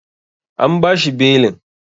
An bashi belin.